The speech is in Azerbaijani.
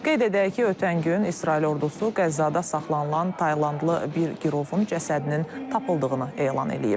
Qeyd edək ki, ötən gün İsrail ordusu Qəzzada saxlanılan Taylandlı bir girovun cəsədinin tapıldığını elan edib.